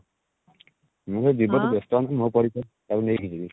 ମୁଁ ବା ବେସ୍ତ ଅଛି ମୋ ପରୀକ୍ଷା ସରିଲେ ନେଇକି ଯିବି